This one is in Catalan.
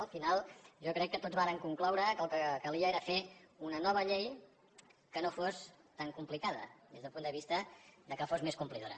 al final jo crec que tots vàrem concloure que el que calia era fer una nova llei que no fos tan complicada des del punt de vista que fos més complidora